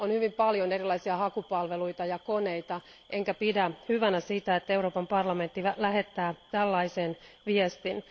On hyvin paljon erilaisia hakupalveluita ja koneita, enkä pidä hyvänä sitä, että Euroopan parlamentti lähettää tällaisen viestin.